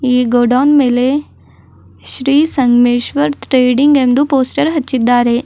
ಈ ಗೌಡೌನ್ ಮೇಲೆ ಶ್ರೀ ಸಂಗ್ಮೇಶ್ವರ್ ತೆಡಿಂಗ್ ಎಂದು ಪೋಸ್ಟರ್ ಹಚ್ಚಿದ್ದಾರೆ.